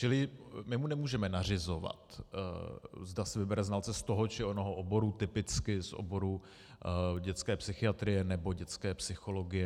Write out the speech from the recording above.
Čili my mu nemůžeme nařizovat, zda si vybere znalce z toho či onoho oboru, typicky z oboru dětské psychiatrie nebo dětské psychologie.